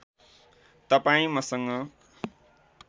तपाईँ मसँग